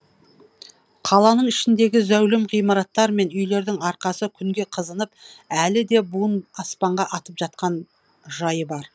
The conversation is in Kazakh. қаланың ішіндегі зәулім ғимараттар мен үйлердің арқасы күнге қызынып әлі де буын аспанға атып жатқан жайы бар